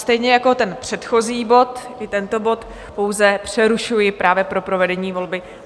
Stejně jako ten předchozí bod, i tento bod pouze přerušuji právě pro provedení volby.